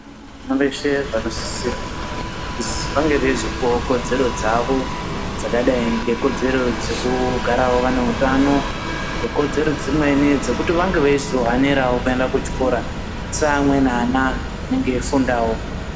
Vana veshe vanosisirwa kuzi vange vaizopuwawo kodzero dzavo dzakadai ngekodzero dzekugarawo vane utano, nekodzero dzimweni dzekuti vange veizohanerawo kuenda kuchikora seamweni ana anenge eifundawo.